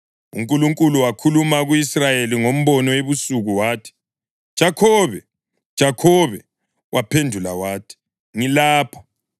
UNkulunkulu wakhuluma ku-Israyeli ngombono ebusuku wathi, “Jakhobe! Jakhobe!” Waphendula wathi, “Ngilapha.”